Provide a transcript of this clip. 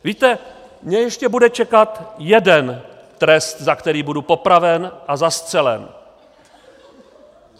Víte, mě ještě bude čekat jeden trest, za který budu popraven a zastřelen.